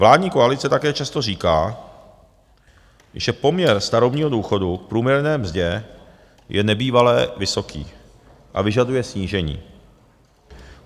Vládní koalice také často říká, že poměr starobního důchodu k průměrné mzdě je nebývalé vysoký a vyžaduje snížení.